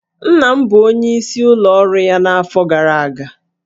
Nna m bụ onyeisi n'ụlọ ọrụ ya n'afọ gara aga